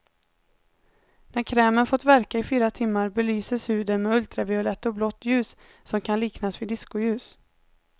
När krämen fått verka i fyra timmar belyses huden med ultraviolett och blått ljus, som kan liknas vid diskoljus.